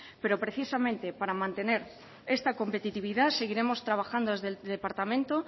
pero precisamente para mantener esta competitividad seguiremos trabajando desde el departamento